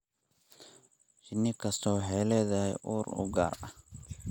Shinni kastaa waxay leedahay ur u gaar ah.